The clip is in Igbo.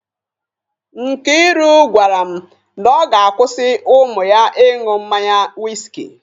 Nkairu gwara m na ọ ga-akwụsị ụmụ ya ị ṅụ mmanya wiski.